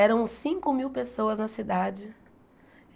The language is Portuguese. Eram cinco mil pessoas na cidade.